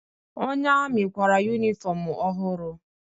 Onye amị kwara yunifọmụ ọhụrụ.